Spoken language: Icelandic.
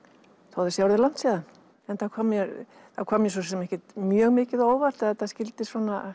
þó að það sé orðið langt síðan það kom mér kom mér ekkert mjög mikið á óvart að þetta skyldi